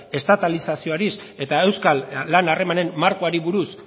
estatalizazioari eta euskal lan harremanen markoari buruz